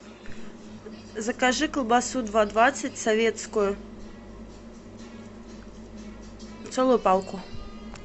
закажи колбасу два двадцать советскую целую палку